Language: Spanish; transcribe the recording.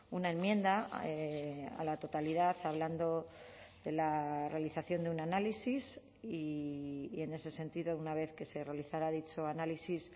una enmienda a la totalidad hablando de la realización de un análisis y en ese sentido una vez que se realizara dicho análisis